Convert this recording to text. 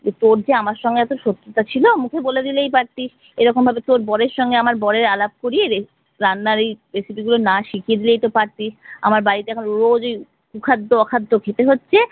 তো তোর যে আমার সঙ্গে এতো শত্রুতা ছিল মুখে বলে দিলেই পারতিস, এরকম ভাবে তোর বরের সঙ্গে আমার বরের আলাপ করিয়ে রান্নার এই recipe গুলো না শিখিয়ে দিলেই তো পারতিস। আমার বাড়িতে এখন রোজ ওই কুখাদ্য অখাদ্য খেতে হচ্ছে।